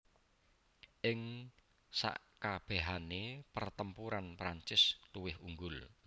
Ing sekabèhané pertempuran Prancis luwih unggul